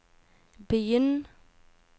begynn